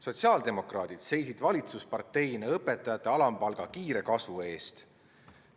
Sotsiaaldemokraadid seisid valitsusparteina õpetajate alampalga kiire kasvu eest.